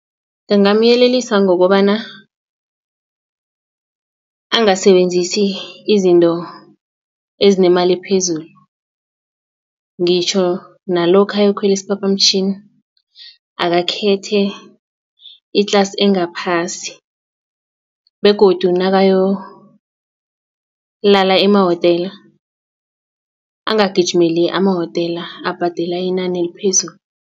Ngingamyelelisa ngokobana angasebenzisi izinto ezinemali ephezulu ngitjho nalokha ayokukhwela isiphaphamtjhini akakhethe i-class engaphasi begodu nakayolala emawotela angagijimela emawotela abhadela inani eliphezulu.